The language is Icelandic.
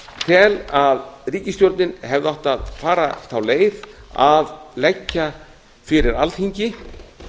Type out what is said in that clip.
tel því að ríkisstjórnin hefði átt að fara þá leið að leggja fyrir alþingi